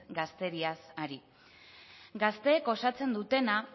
gazteriaz ari gazteek osatzen dutena